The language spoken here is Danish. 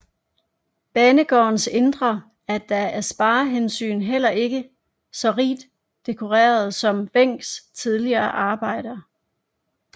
Banegårdens indre er da af sparehensyn heller ikke så rigt dekoreret som Wencks tidligere arbejder